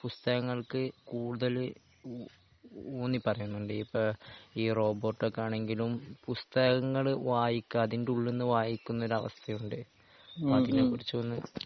ഈ പുസ്തകങ്ങൾക്ക് കൂടുതൽ ഊന്നി പറഞ്ഞു കൊണ്ട് ഇപ്പൊ ഈ റോബോർട്ട് ഒക്കെ ആണെങ്കിലും പുസ്തകങ്ങൾ വായിക്കാ അതിന്റെ ഉള്ളിൽ നിന്ന് വായിക്കുന്ന ഒരവസ്ഥയുണ്ട്. അതിനെ കുറിച്ചൊന്ന്